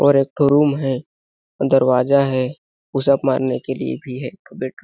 और एक तो रूम है दरवाजा है पुशअप मारने के लिए भी है एक तो बेड --